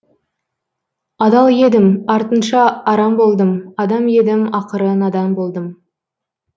адал едім артынша арам болдым адам едім ақыры надан болдым